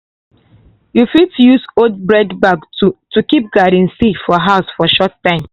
you fit use old bread bag to to keep garden seed for house for short time.